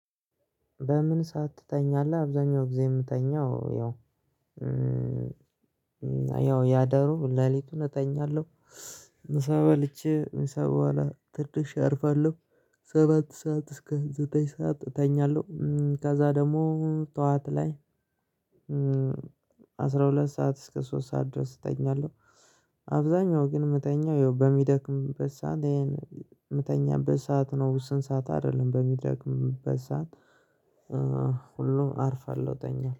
በምን ሰዓት ትተኛለህ? አብዛኛው ጊዜ የምተኛው ያው ያደሩ ሌሊቱን እተኛለሁ። ምሳ በልቼ ምሳ በኋላ ትንሽ አርፋለሁ። ሰባት ሰዓት እስከ ዘጠኝ ሰዓት እተኛለሁ ከዛ ደግሞ ጠዋት ላይ አስራ ሁለት ሰዓት እስከ ሶስት ሰዓት ድረስ እተኛለሁ። አብዛኛው ግን መተኛው ይኸው በሚደክምበት ሰዓት ይሄን የምተኛበት ሰዓት ነው ስንት ሰዓት አይደለም በሚደክምበት ሰዓት። ሁሉም አርፋለሁ ተኛለሁ